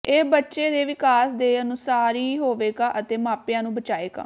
ਇਹ ਬੱਚੇ ਦੇ ਵਿਕਾਸ ਦੇ ਅਨੁਸਾਰੀ ਹੋਵੇਗਾ ਅਤੇ ਮਾਪਿਆਂ ਨੂੰ ਬਚਾਏਗਾ